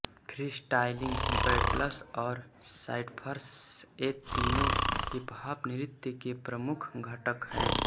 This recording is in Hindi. फ्रीस्टाइलिंग बैटल्स और साइफर्स ये तीनों हिपहॉप नृत्य के प्रमुख घटक हैं